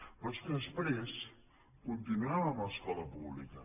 però és que després continuem amb l’escola pública